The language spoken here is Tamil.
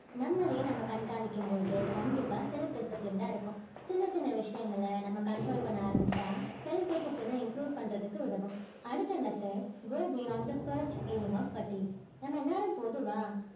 நம்மளே நம்ம கண்காணிக்க போது கண்டிப்பா self disciplined அ இருப்போம் சின்ன சின்ன விஷியங்கள நம்ம control பண்ண ஆரம்பிச்சா self discipline அ improve பண்றதுக்கு உதவும் அடுத்த method go beyond the first feeling of நம்ம எல்லாரும் பொதுவா